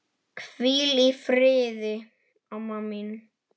Hvíl í friði, amma mín.